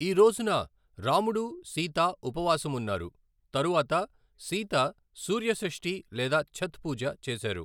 ఈ రోజున రాముడు, సీత ఉపవాసం ఉన్నారు, తరువాత సీత సూర్య షష్ఠీ లేదా ఛత్ పూజ చేశారు.